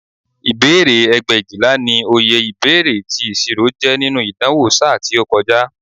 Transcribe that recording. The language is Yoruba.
Ìbéèrè ẹgbẹ̀éjìlá ni oye ìbéèrè tí ìṣirò jẹ́ nínú ìdánwò ṣáá tí ó kọjá